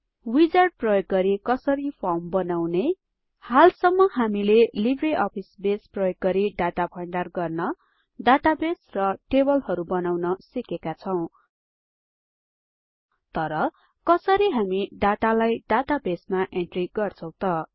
wizard प्रयोग गरि कसरी फर्म बनाउने हालसम्म हामीले लिब्रे आफिस बेस प्रयोग गरी डाटा भण्डार गर्न डाटाबेस र टेबलहरु बनाउन सिकेका छौ तर कसरी हामी डाटालाई डाटा बेसमा इन्ट्री गर्छौं त